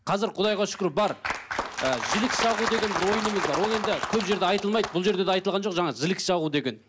қазір құдайға шүкір бар ы жілік шағу деген ойынымыз бар ол енді көп жерде айтылмайды бұл жерде де айтылған жоқ жаңағы жілік шағу деген